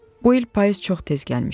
Bu il payız çox tez gəlmişdi.